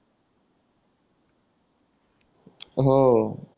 हो